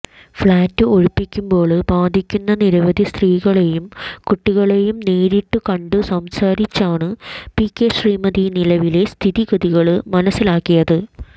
flat ഒഴിപ്പിക്കുമ്പോള് ബാധിക്കുന്ന നിരവധി സ്ത്രീകളെയും കുട്ടികളെയും നേരിട്ടുകണ്ട് സംസാരിച്ചാണ് പി കെ ശ്രീമതി നിലവിലെ സ്ഥിതിഗതികള് മനസ്സിലാക്കിയത്